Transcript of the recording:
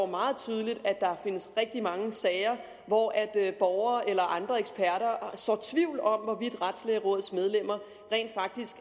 meget tydeligt at der findes rigtig mange sager hvor borgere eller andre eksperter sår tvivl om hvorvidt retslægerådets medlemmer rent